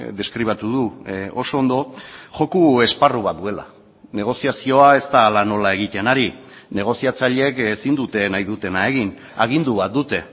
deskribatu du oso ondo joko esparru bat duela negoziazioa ez da hala nola egiten ari negoziatzaileek ezin dute nahi dutena egin agindu bat dute